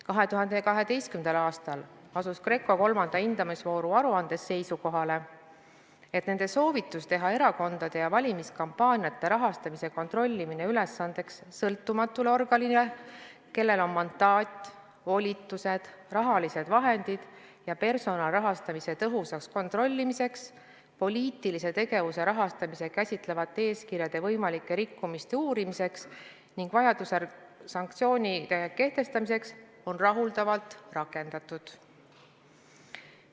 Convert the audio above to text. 2012. aastal asus GRECO kolmanda hindamisvooru aruandes seisukohale, et nende soovitus teha erakondade ja valimiskampaaniate rahastamise kontrollimine ülesandeks sõltumatule organile, kellel on mandaat, volitused, rahalised vahendid ja personal rahastamise tõhusaks kontrollimiseks, poliitilise tegevuse rahastamist käsitlevate eeskirjade võimalike rikkumiste uurimiseks ning vajadusel sanktsioonide kehtestamiseks, on rahuldavalt rakendatud.